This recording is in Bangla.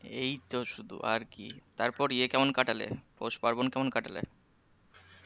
এই তো শুধু আর কি তারপর ইয়ে কেমন কাটালে? পৌষ পার্বন কেমন কাটালে?